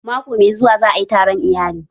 Mako mai zuwa za ayi taron iyali